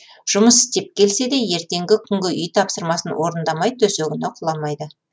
жұмыс істеп келсе де ертеңгі күнгі үй тапсырмасын орындамай төсегіне құламайды